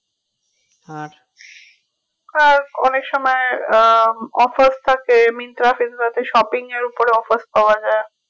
আর অনেক সময় আহ offer থাকে myntra pizza তে shopping এর উপরে offers পাওয়া যাই